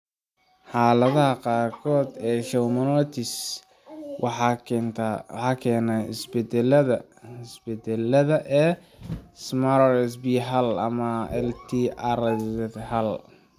Xaaladaha qaarkood ee schwannomatosis waxaa keena isbeddelada (isbeddellada) ee SMARCB hal ama LZTR hal.